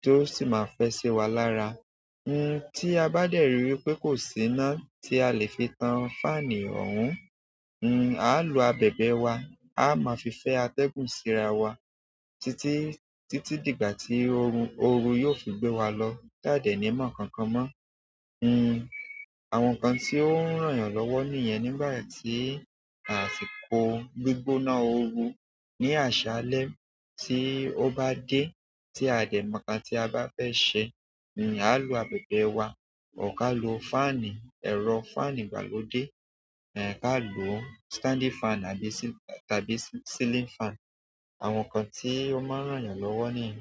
ti o si ma fe si wa lára. Tí a bá dẹ̀ ri wípé kò sí iná tí a le fi tan fáànù ọ̀hún. A ó lo abẹ̀bẹ̀ wa. A máa fi fẹ́ atẹ́gùn síra wa títí, títí dìgbà tí oru yóò fi gbé wa lọ jáde ní ìmọ̀ kankan mọ. Àwọn nǹkan tí ó ń ràn yàn lọ́wọ́ nìyẹn nígbà tí àsìkò gbígbóná oru ní àṣálẹ́ tí ó bá dé tí a dẹ̀ mọ̀ nǹkan tí a bá fẹ́ sẹ. A ó lo abẹ̀bẹ̀ wa, kò ká lo fáànù, ẹ̀rọ fáànù ìgbàlódé. A lo standing fan tàbí celing fan. Àwọn nǹkan tí ó máa ń ràn yàn lọ́wọ́ nìyẹn.